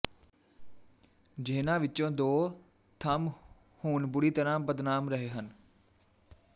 ਜਿਹਨਾਂ ਵਿੱਚੋਂ ਦੋ ਥੰਮ ਹੁਣ ਬੁਰੀ ਤਰਾਂ ਬਦਨਾਮ ਰਹੇ ਹਨ